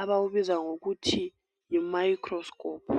abawubiza ngokuthi yi microscope.